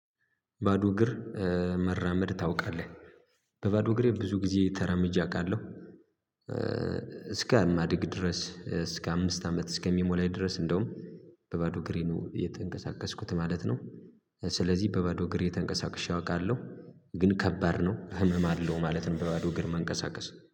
ባዶ እግር መራመድ ታውቃለህ? በባዶ እግሬ ብዙ ጊዜ ተራምጀ አውቃለሁ። አማዲግ ድረስ እስከ አምስት አመት እስከሚሞላኝ ድረስ እንደውም በባዶ እግሬ ነው እየተንቀሳቀስኩት ማለት ነው። ስለዚህ በባዶ እግሬ ተንቀሳቅሼ አውቃለሁ ግን ከባድ ነው ህመም አለው ማለት እንደባዶ ግር መንቀሳቀስ